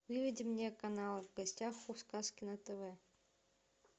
выведи мне канал в гостях у сказки на тв